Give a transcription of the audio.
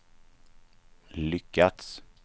lyckats